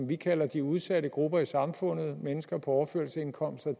vi kalder de udsatte grupper i samfundet mennesker på overførselsindkomster